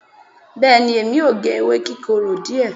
beeni emi o ge ewé kikoro die